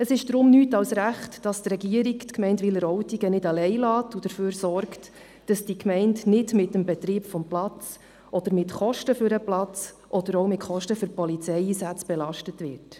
Es ist deshalb richtig und wichtig, dass die Regierung die Gemeinde Wileroltigen nicht alleine lässt und dafür sorgt, dass diese Gemeinde nicht mit dem Betrieb des Platzes oder mit Kosten für den Platz oder auch mit Kosten für Polizeieinsätze belastet wird.